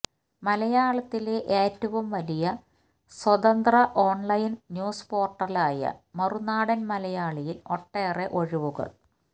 മലയാളത്തിലെ ഏറ്റവും വലിയ സ്വതന്ത്ര ഓൺലൈൻ ന്യൂസ്പോർട്ടലായ മറുനാടൻ മലയാളിയിൽ ഒട്ടേറെ ഒഴിവുകൾ